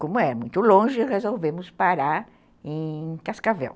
Como é muito longe, resolvemos parar em Cascavel.